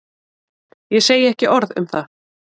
Ég segi ekki orð um það.